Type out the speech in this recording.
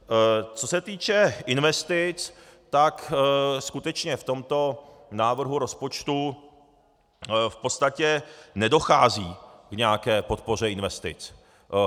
Co se týče investic, tak skutečně v tomto návrhu rozpočtu v podstatě nedochází k nějaké podpoře investic.